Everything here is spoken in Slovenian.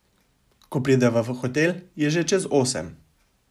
Ko prideva v hotel, je že čez osem.